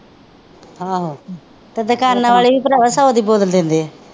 ਆਹੋ ਤੇ ਦੁਕਾਨਾਂ ਵਾਲੇ ਵੀ ਭਰਾਵਾਂ ਸੌ ਦੀ ਬੋਤਲ ਦਿੰਦੇ ਆ।